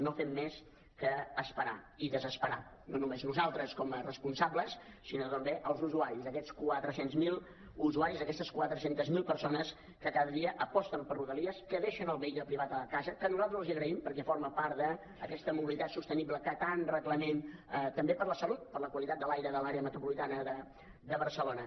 no fem més que esperar i desesperar no només nosaltres com a responsables sinó també els usuaris aquests quatre cents miler usuaris aquestes quatre cents miler persones que cada dia aposten per rodalies que deixen el vehicle privat a casa que nosaltres els ho agraïm perquè forma part d’aquesta mobilitat sostenible que tant reclamem també per a la salut per a la qualitat de l’aire de l’àrea metropolitana de barcelona